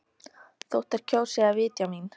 Þótt þær kjósi að vitja mín.